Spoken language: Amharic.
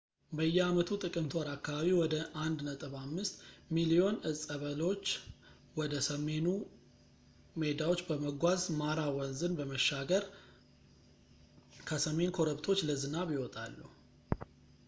በየአመቱ ጥቅምት ወር አካባቢ ወደ 1.5 ሚሊዮን እፀ በሎች ወደ ሰሜኑ ሜዳዎች በመጓዝ ማራ ወንዝን በመሻገር ከሰሜን ኮረብቶች ለዝናብ ይወጣሉ